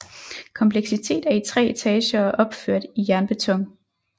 Komplekset er i 3 etager og opført i jernbeton